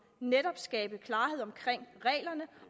netop skabe klarhed omkring reglerne